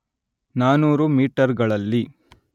ನಾನೂರು ಮೀಟರ್‌ಗಳಲ್ಲಿ